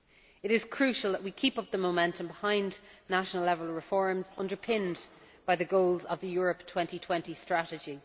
It is crucial that we keep up the momentum behind national level reforms, underpinned by the goals of the Europe 2020 Strategy.